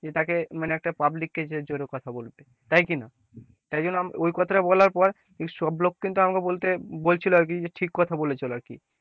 যে তাকে মানে একটা public কে যে জোরে কথা বলবে, তাই কি না, তাই জন্য ওই কথাটা বলার পর সব লোক কিন্তু আমাকে বলতে বলছিল আর কি যে টিক কথা বলে চলো আর কি,